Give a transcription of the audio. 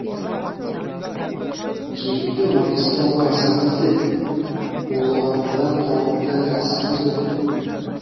келіпті маңғыстауға асаны іздеп оғыландыдан тауыпты асаны дөп